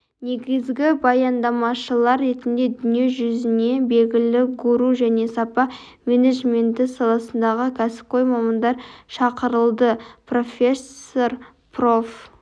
негізгі баяндамашылар ретінде дүние жүзіне белгілі гуру және сапа менеджменті саласындағы кәсіпқой мамандар шақырылды профессор проф